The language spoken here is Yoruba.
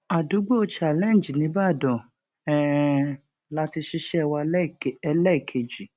àdúgbò challenge nìbàdàn um la ti ṣiṣẹ wa ẹlẹẹkejì